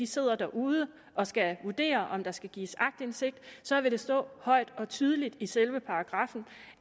sidder derude og skal vurdere om der skal gives aktindsigt så vil det stå højt og tydeligt i selve paragraffen